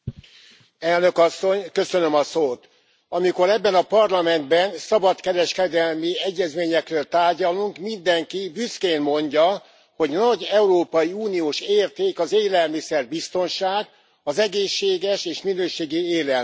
Elnök Asszony, amikor ebben a Parlamentben szabadkereskedelmi egyezményekről tárgyalunk, mindenki büszkén mondja, hogy nagy európai uniós érték az élelmiszerbiztonság, az egészséges és minőségi élelmiszer.